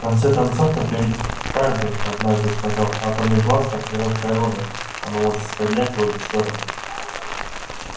в конце концов это ведь хардин однажды сказал атомный бластер хорошее оружие оно может стрелять в обе стороны